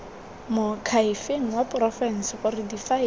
moakhaefeng wa porofense gore difaele